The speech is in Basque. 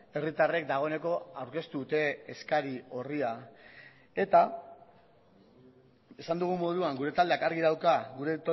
herritarrek dagoeneko aurkeztu dute eskari orria eta esan dugun moduan gure taldeak argi dauka gure